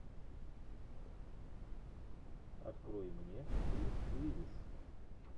открой мне брюс уиллис